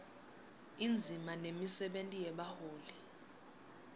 indzima nemisebenti yebaholi